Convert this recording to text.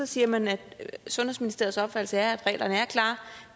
siger man at sundhedsministeriets opfattelse er at reglerne er klare og